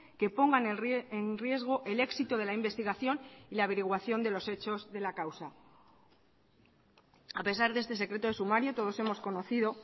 que pongan en riesgo el éxito de la investigación y la averiguación de los hechos de la causa a pesar de este secreto de sumario todos hemos conocido